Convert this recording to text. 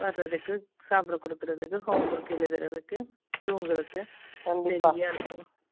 சாப்பிட கொடுக்கிறதுக்கு, homework எழுதுறதுக்கு, தூங்குறதுக்கு,